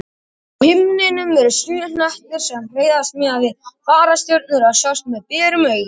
Á himninum eru sjö hnettir sem hreyfast miðað við fastastjörnurnar og sjást með berum augum.